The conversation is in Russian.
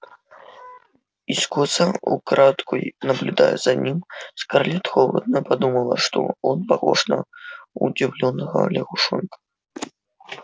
искоса украдкой наблюдая за ним скарлетт холодно подумала что он похож на удивлённого лягушонка